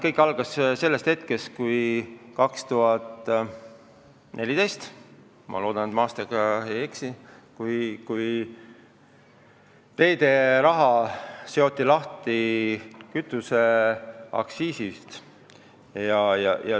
Kõik algas aastal 2014 – ma loodan, et ma aastaga ei eksi –, kui teederaha seoti kütuseaktsiisist lahti.